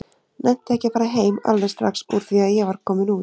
Nennti ekki að fara heim alveg strax úr því að ég var kominn út.